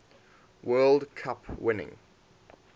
world cup winning